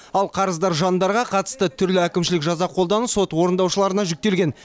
ал қарыздар жандарға қатысты түрлі әкімшілік жаза қолдану сот орындаушыларына жүктелген